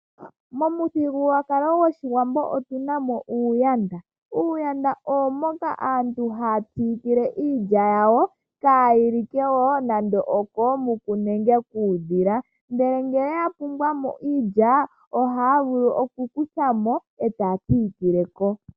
Momuthigululwakalo gwOshiwambo otunamo uuyanda. Uuyanda owo mboka aantu haya siikile iilya yawo opo kaayilike koombuku nenge kuudhila . Ngele yapumbwa mo iilya ohaya vulu okukuthamo etaya siikile ko.